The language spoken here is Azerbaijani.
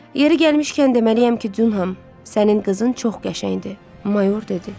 Yeri gəlmişkən deməliyəm ki, Dunham, sənin qızın çox qəşəngdir, Mayor dedi.